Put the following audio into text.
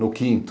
No quinto.